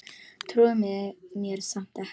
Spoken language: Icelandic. Trúir mér samt ekki.